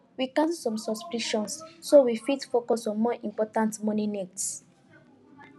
we cancel some subscriptions so we fit focus on more important money needs